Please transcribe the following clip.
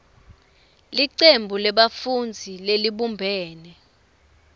licembu lebafundzi lelibumbene